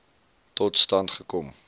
tot stand gekom